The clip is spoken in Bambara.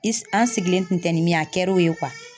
I an sigilen tun tɛ nin min ye, a kɛra o ye